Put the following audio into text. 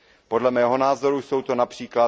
Podle mého názoru jsou to např.